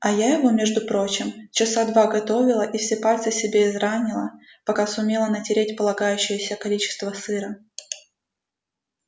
а я его между прочим часа два готовила и все пальцы себе изранила пока сумела натереть полагающееся количество сыра